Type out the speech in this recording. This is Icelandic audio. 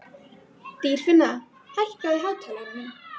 Dýrfinna, hækkaðu í hátalaranum.